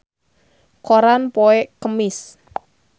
Mirei Kiritani aya dina koran poe Kemis